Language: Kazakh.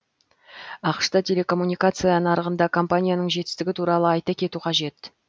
ақш та телекоммуникация нарығында компанияның жетістігі туралы айта кету қажет